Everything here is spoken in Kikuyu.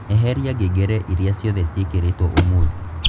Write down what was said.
eheria ngengere iria ciothe ciothe cirekīrītwo ūmūthī